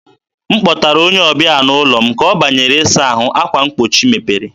m kpọtara onye ọbịa n'ụlọ m, ka ọ banyere ịsa ahụ, akwa mgbochi mepere.